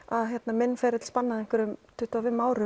minn ferill spannaði tuttugu og fimm ár